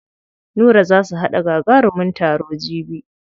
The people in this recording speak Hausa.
Nura za su haɗa gagarumin taro jibi.